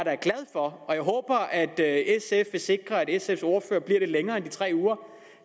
håber at sf vil sikre at sfs ordfører bliver lidt længere end de tre uger